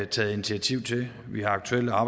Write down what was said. taget initiativ til vi har aktuelle